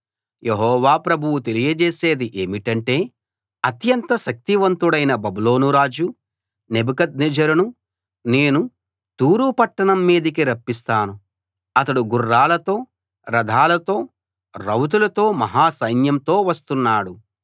యెహోవా ప్రభువు తెలియజేసేది ఏమిటంటే అత్యంత శక్తివంతుడైన బబులోనురాజు నెబుకద్నెజరును నేను తూరు పట్టణం మీదికి రప్పిస్తున్నాను అతడు గుర్రాలతో రథాలతో రౌతులతో మహా సైన్యంతో వస్తున్నాడు